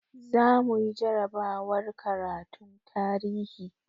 Zamuyi jarabawar karatun tarihi